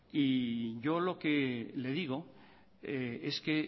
y yo lo que le digo es que